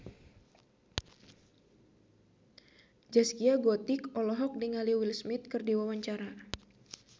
Zaskia Gotik olohok ningali Will Smith keur diwawancara